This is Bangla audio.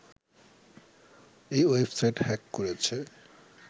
এই ওয়েবসাইট হ্যাক করেছে